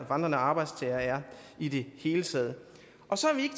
vandrende arbejdstagere er i det hele taget og så er vi